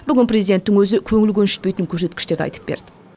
бүгін президенттің өзі көңіл көншітпейтін көрсеткіштерді айтып берді